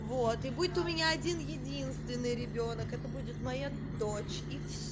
вот и будет у меня один единственный ребёнок это будет моя дочь и всё